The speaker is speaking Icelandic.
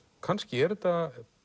kannski er þetta